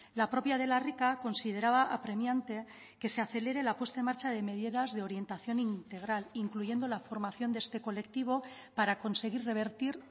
la propia de la rica consideraba apremiante que se acelere la puesta en marcha de medidas de orientación integral incluyendo la formación de este colectivo para conseguir revertir